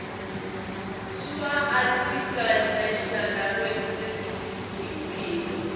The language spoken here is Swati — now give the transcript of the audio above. sswarticlenational language servicesimphilo